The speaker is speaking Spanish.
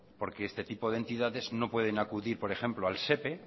porque este tipo de entidades no pueden acudir por ejemplo al sepe